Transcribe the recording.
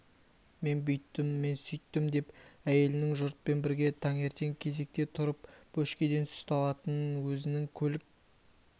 мен бүйттім мен сөйттім деп әйелінің жұртпен бірге таңертең кезекте тұрып бөшкеден сүт алатынын өзінің көлік